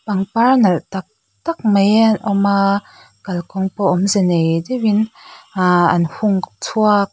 pangpar nalh tak tak mai a awm a kalkawng pawh awmze nei deuh in ahh an hung chhuak--